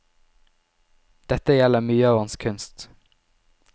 Dette gjelder mye av hans kunst.